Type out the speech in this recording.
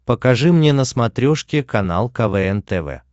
покажи мне на смотрешке канал квн тв